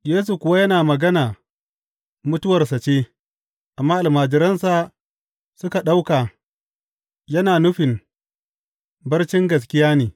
Yesu kuwa yana magana mutuwarsa ce, amma almajiransa suka ɗauka yana nufin barcin gaskiya ne.